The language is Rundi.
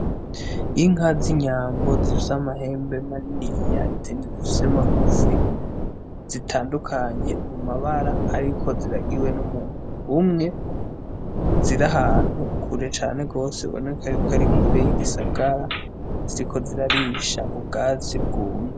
Inka z'inyambo zivyoamahembe maniniya izindizivyomagufi zitandukanye mu mabara, ariko ziragiwe n'umuntu umwe zirahantu kure cane rwose boneka yuko ari kure y'igisagara ziko zirarisha ubwazi bwumye.